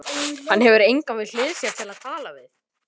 Hann hefur engan við hlið sér til að tala við.